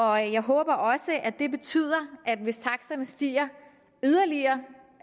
og jeg håber også at det betyder at hvis taksterne stiger yderligere